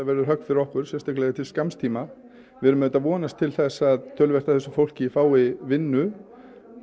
verður högg fyrir okkur sérstaklega til skamms tíma við erum auðvitað að vonast til þess að töluvert af þessu fólki fái vinnu og